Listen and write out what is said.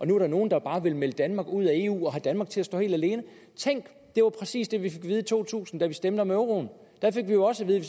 nu er nogen der bare vil melde danmark ud af eu og have danmark til at stå helt alene tænk det var præcis det vi fik at vide i to tusind da vi stemte om euroen da fik vi jo også at vide